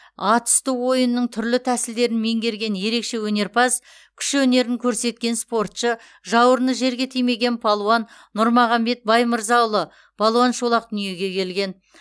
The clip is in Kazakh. ат үсті ойынының түрлі тәсілдерін меңгерген ерекше өнерпаз күш өнерін көрсеткен спортшы жауырыны жерге тимеген балуан нұрмағамбет баймырзаұлы балуан шолақ дүниеге келген